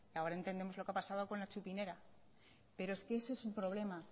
ahora entendemos lo que ha pasado con la txupinera pero es que ese es el problema